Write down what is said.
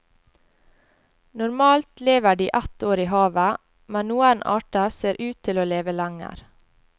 Normalt lever de ett år i havet, men noen arter ser ut til å leve lenger.